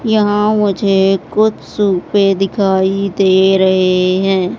यहां मुझे कुछ सोफे दिखाई दे रहे हैं।